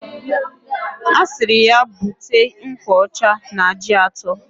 Asiri ya buta nkwa Ọcha na ji ato.